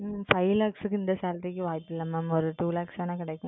உம் Five Lakhs க்கு இந்த Salary க்கு வாய்ப்பில்லை Ma'am. ஒரு Two Lakhs வேணா கிடைக்கும்.